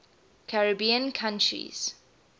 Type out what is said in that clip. caribbean countries